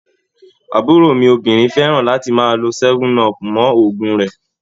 Àbúrò mi obìnrin fẹ́ran láti máa lo 7up mọ́ òògùn rẹ̀